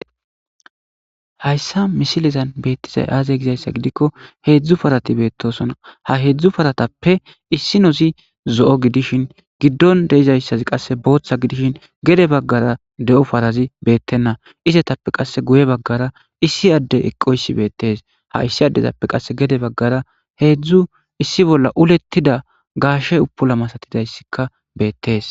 Haysan misilezan betizay azza gizayssa gidikko hezzu parati bettosona ha heezu paratappe issinozi zo'o gidishin gidon deyzazzi botha gidishin gede bagara beyzazi betena izzape guye bagara issi addezi eqoyssi bettes izappe gede bagara heezu issi bola uletida gashe upula masatidayssi bettes.